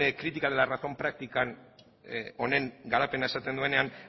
crítica de la razón práctica honen garapena esaten duenean